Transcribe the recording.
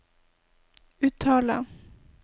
uttale